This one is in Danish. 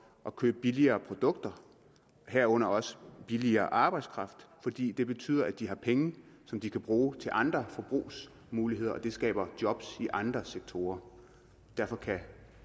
at købe billigere produkter herunder også billigere arbejdskraft fordi det betyder at de har penge som de kan bruge til andre forbrugsmuligheder og det skaber job i andre sektorer derfor kan